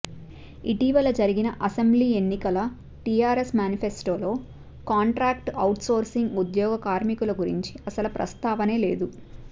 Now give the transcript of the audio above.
ఇటీవల జరిగిన అసెంబ్లీ ఎన్నికల టీఆర్ఎస్ మ్యానిఫెస్టోలో కాంట్రాక్టు ఔట్సోర్సింగ్ ఉద్యోగ కార్మికుల గురించి అసలు ప్రస్తావనే లేదు